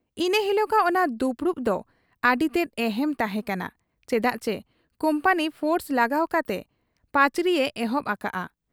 ᱤᱱᱟᱹ ᱦᱤᱞᱚᱜᱟᱜ ᱚᱱᱟ ᱫᱩᱯᱩᱲᱩᱵ ᱫᱚ ᱟᱹᱰᱤᱛᱮᱫ ᱮᱦᱮᱢ ᱛᱟᱦᱮᱸ ᱠᱟᱱᱟ ᱪᱮᱫᱟᱜᱪᱤ ᱠᱩᱢᱯᱟᱹᱱᱤ ᱯᱷᱳᱨᱥ ᱞᱟᱜᱟᱣ ᱠᱟᱛᱮ ᱯᱟᱹᱪᱨᱤᱭᱮ ᱮᱦᱚᱵ ᱟᱠᱟᱜ ᱟ ᱾